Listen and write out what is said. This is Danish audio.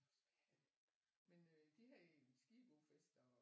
Også hvad er det men de havde en skidegod fest og